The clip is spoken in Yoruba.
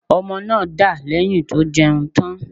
Ọmọ náà dà lẹ̀yìn tó jẹun tán.